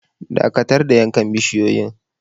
Dakatar da yankan bisiyoyin.